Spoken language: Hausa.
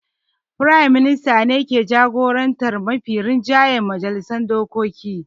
Firayim Minista ne ke jagorantar mafi rinjaye a majalisar dokoki.